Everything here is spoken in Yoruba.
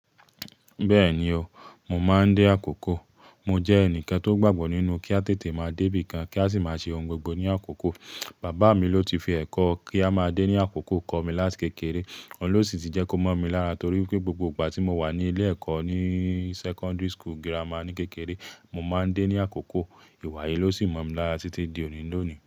Bẹ́ẹ̀ni o, mo máa ń dé àkókò. Mo jẹ́ ẹnìkan tó gbàgbọ́ nínú kí a tètè máa débí kan kí a sì máa ṣe ohun gbogbo ní àkókò. Bàbá mi ló ti fi ẹ̀kọ́ kí a máa dé ní àkókò kọ́ mi láti kékeré. Òhun ló sì ti jẹ́ kó mọ̀ mi lára torí pé gbogbo ìgbà tí mo wà ní ilé ẹ̀kọ́ ní secondary school grammar ní kékeré, mo máa ń dé ní àkókò. Ìwà yìí ló sì mọ̀ mi lára títí di òní lónìí.